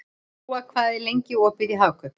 Góa, hvað er lengi opið í Hagkaup?